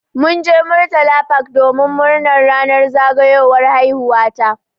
Mun je murtala park domin murnar ranar zagayowar haihuwa ta.